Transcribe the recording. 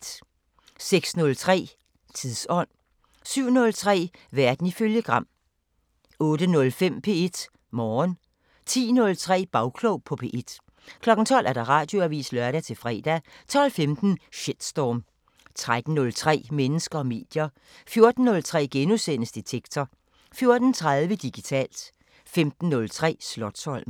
06:03: Tidsånd 07:03: Verden ifølge Gram 08:05: P1 Morgen 10:03: Bagklog på P1 12:00: Radioavisen (lør-fre) 12:15: Shitstorm 13:03: Mennesker og medier 14:03: Detektor * 14:30: Digitalt 15:03: Slotsholmen